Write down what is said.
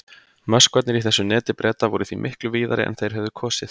Möskvarnir í þessu neti Breta voru því miklu víðari en þeir hefðu kosið.